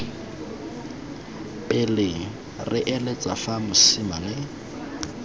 pele re eletsa fa mosimane